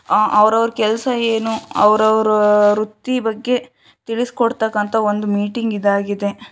ಆ ಅವರವರ ಕೆಲಸ ಏನು ಅವರವರ ವೃತ್ತಿ ಬಗ್ಗೆ ತಿಳಿಸಿಕೊಡುವುತಕ್ಕಂತ ಒಂದು ಮೀಟಿಂಗ್‌ ಇದಾಗಿದೆ.